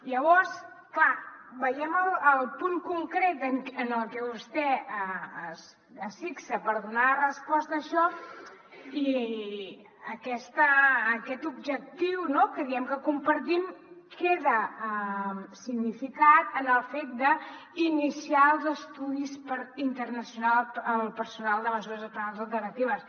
llavors clar veiem el punt concret en el que vostè es fixa per donar resposta a això i aquest objectiu no que diem que compartim queda significat en el fet d’iniciar els estudis per internalitzar el personal de mesures penals alternatives